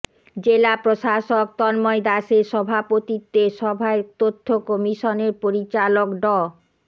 জেলা প্রশাসক তন্ময় দাসের সভাপতিত্বে সভায় তথ্য কমিশনের পরিচালক ড